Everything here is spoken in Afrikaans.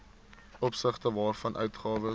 opsigte waarvan uitgawes